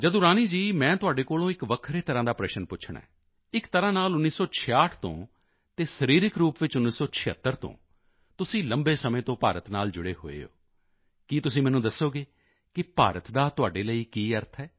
ਜਦੁਰਾਨੀ ਜੀ ਮੈਂ ਤੁਹਾਡੇ ਕੋਲੋਂ ਇੱਕ ਵੱਖਰੇ ਤਰ੍ਹਾਂ ਦਾ ਪ੍ਰਸ਼ਨ ਪੁੱਛਣਾ ਹੈਇੱਕ ਤਰ੍ਹਾਂ ਨਾਲ 1966 ਤੋਂ ਅਤੇ ਸਰੀਰਕ ਰੂਪ ਵਿੱਚ 1976 ਤੋਂ ਤੁਸੀਂ ਲੰਬੇ ਸਮੇਂ ਤੋਂ ਭਾਰਤ ਨਾਲ ਜੁੜੇ ਹੋਏ ਹੋ ਕੀ ਤੁਸੀਂ ਮੈਨੂੰ ਦੱਸੋਗੇ ਕਿ ਭਾਰਤ ਦਾ ਤੁਹਾਡੇ ਲਈ ਕੀ ਅਰਥ ਹੈ